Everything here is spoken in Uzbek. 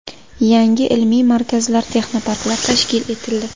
Yangi ilmiy markazlar, texnoparklar tashkil etildi.